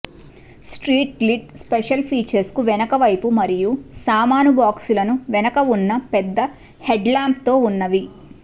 street glide special features కు వెనుక వైపు మరియు సామాను బాక్సులను వెనుక ఉన్న పెద్ద హెడ్ల్యాంప్తో ఉన్నవి